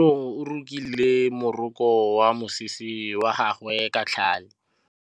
Kutlwanô o rokile morokô wa mosese wa gagwe ka tlhale.